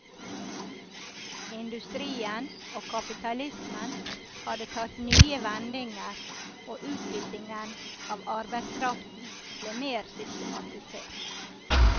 Industrien og kapitalismen hadde tatt nye vendinger og utbyttingen av arbeidskraften ble mer systematisert.